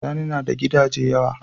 Sani nada Gidaje yawa